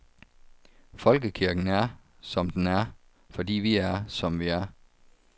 Folkekirken er, som den er, fordi vi er, som vi er.